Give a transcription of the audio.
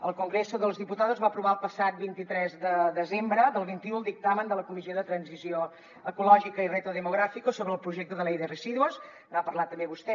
el congreso de los diputados va aprovar el passat vint tres de desembre del vint un el dictamen de la comissió de transició ecològica i reto demográfico sobre el proyecto de ley de residuos n’ha parlat també vostè